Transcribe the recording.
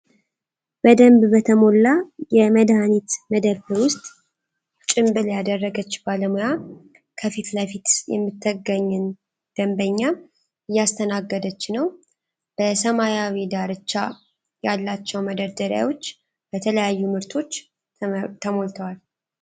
በደንብ በተሞላ የመድኃኒት መደብር ውስጥ ጭምብል ያደረገች ባለሙያ ከፊት ለፊቷ የምትገኝን ደንበኛ እያስተናገደች ነው። በሰማያዊ ዳርቻ ያላቸው መደርደሪያዎች በተለያዩ ምርቶች ተሞልተዋል።